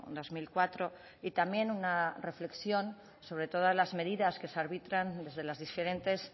dos mil cuatro y también una reflexión sobre todas las medidas que se arbitran desde las diferentes